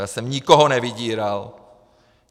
Já jsem nikoho nevydíral!